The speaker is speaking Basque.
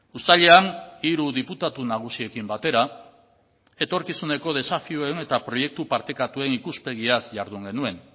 uztailean hiru diputatu nagusiekin batera etorkizuneko desafioen eta proiektu partekatuen ikuspegiaz jardun genuen